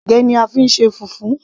ẹ̀gẹ́ ni a fí ń ṣe fufu